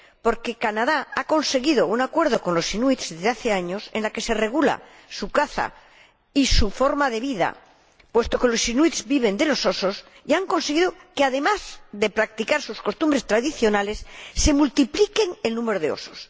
Porque Canadá ha conseguido un acuerdo con los inuit desde hace años, en el que se regula su caza y su forma de vida —puesto que los inuit viven de los osos— y han conseguido que, además de practicar sus costumbres tradicionales, se multiplique el número de osos.